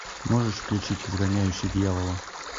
можешь включить изгоняющий дьявола